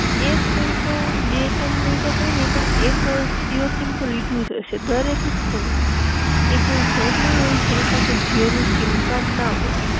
એક નહિ તો બે તણ નહિ તો કઈ નહિ પણ, એક જીઓ સીમ તો લીધું જ હસે દરેક ઘર માં એક એવું ઘર નહીં હોય જેની પાસે જીઓ નું સીમ કાર્ડ ના હોય